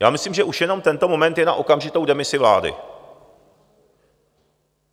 Já myslím, že už jenom tento moment je na okamžitou demisi vlády.